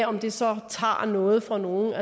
om det så tager noget fra nogen